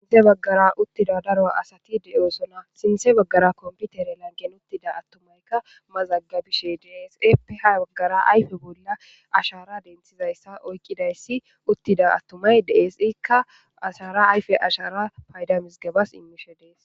Ya baggara uttida daro asati de'oosona sinthe baggara komputere langen uttida attumaykka mazaggabishe deesepe ha baggara ayfe bolla ashara denthizayssa oykqidayssi uttida attumay deesikka ashara ayfe ashara paydamis gebas immishe dees.